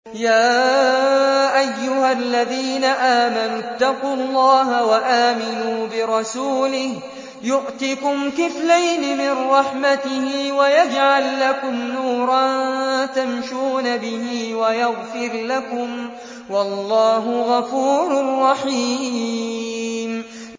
يَا أَيُّهَا الَّذِينَ آمَنُوا اتَّقُوا اللَّهَ وَآمِنُوا بِرَسُولِهِ يُؤْتِكُمْ كِفْلَيْنِ مِن رَّحْمَتِهِ وَيَجْعَل لَّكُمْ نُورًا تَمْشُونَ بِهِ وَيَغْفِرْ لَكُمْ ۚ وَاللَّهُ غَفُورٌ رَّحِيمٌ